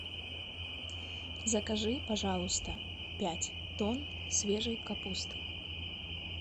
закажи пожалуйста пять тонн свежей капусты